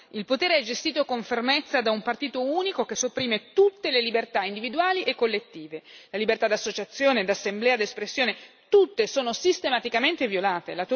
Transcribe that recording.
Il potere è gestito con fermezza da un partito unico che sopprime tutte le libertà individuali e collettive. La libertà d'associazione, d'assemblea, d'espressione sono tutte sistematicamente violate